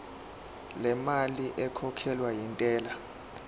lemali ekhokhelwa intela